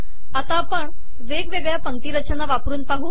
आता आपण वेगवेगळ्या पंक्तीरचना वापरून पाहू